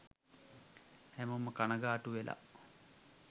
හැමෝම කණගාටු වෙලා